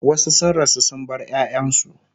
wasu sun rasu sun bar ƴaƴansu